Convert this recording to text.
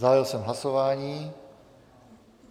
Zahájil jsem hlasování.